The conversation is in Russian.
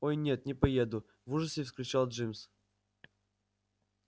ой нет не поеду в ужасе вскричал джимс